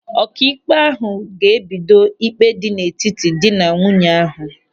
Ọkaikpe ahụ ga-ebido ịkpe dị n'etiti dị na nwunye ahụ.